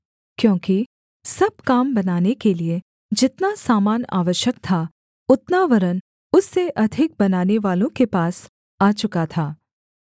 क्योंकि सब काम बनाने के लिये जितना सामान आवश्यक था उतना वरन् उससे अधिक बनानेवालों के पास आ चुका था